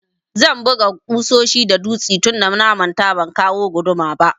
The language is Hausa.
Zan buga ƙusoshi da dutse tunda na manta ban kawo guduma ba.